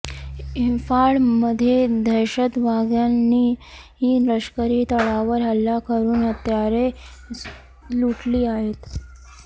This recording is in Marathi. इंफाळमध्ये दहशतवाद्यांनी लष्करी तळावर हल्ला करून हत्यारे लुटली आहेत